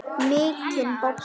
Mikinn bobba.